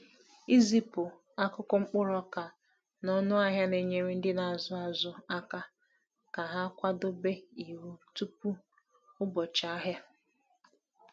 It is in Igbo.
Izipu akụkọ mkpụrụ ọka na ọnụahịa na-enyere ndị na-azụ azụ aka ka ha kwadebe iwu tupu ụbọchị ahịa.